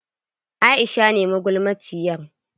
Aisha ce magulmaciyar.